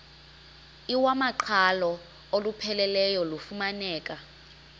iwamaqhalo olupheleleyo lufumaneka